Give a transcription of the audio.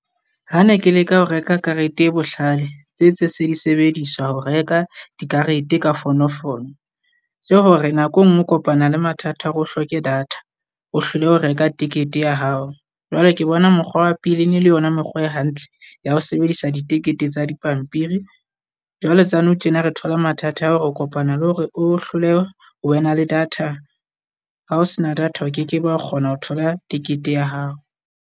Ha ne ke leka ho reka karete e bohlale tse tse se di sebediswa ho reka dikarete ka fono fono. Ke hore nako e nngwe o kopana le mathata o re hloke data, o hlolehe ho reka ticket ya hao. Jwale ke bona mokgwa wa pele ene le yona mekgwa e hantle ya ho sebedisa ditekete tsa dipampiri. Jwale tsa nou tjena re thola mathata a hore o kopana le hore o hlolehe ho wena le data ha o sena data, o kekebe wa kgona ho thola ticket ya hao.